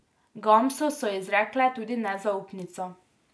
Gamsu so izrekle tudi nezaupnico.